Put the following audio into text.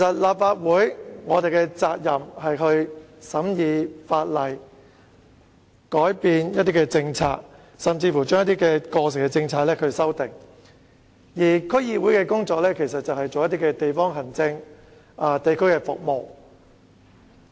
立法會的責任是審議法例、改變一些政策，甚至對過時的政策進行修訂，而區議會則負責地方行政和地區服務的工作。